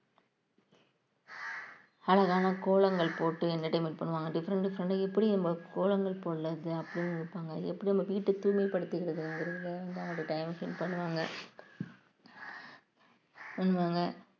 அழகான கோலங்கள் போட்டு entertainment பண்ணுவாங்க different different ஆ எப்படி நம்ம கோலங்கள் போடுறது இது அப்படின்னு நினைப்பாங்க எப்படி நம்ம வீட்டு தூய்மைப்படுத்திக்கிறது time spend பண்ணுவாங்க